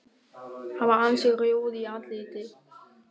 Hann var ansi rjóður í andliti.